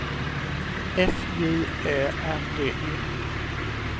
F J Ä R D E